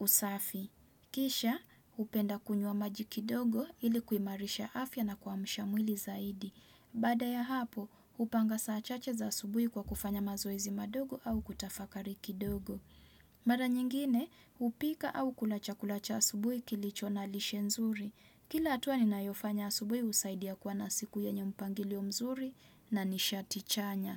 usafi. Kisha, hupenda kunywa maji kidogo ili kuimarisha afya na kuamasha mwili zaidi. Baada ya hapo, hupanga saa chache za asubuhi kwa kufanya mazoezi madogo au kutafakari kidogo. Mara nyingine, hupika au kula chakula cha asubuhi kilicho na lishe nzuri. Kila hatua ninayofanya asubuhi husaidia kua na siku yenye mpangilio mzuri na nishati chanya.